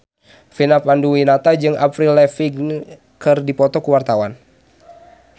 Vina Panduwinata jeung Avril Lavigne keur dipoto ku wartawan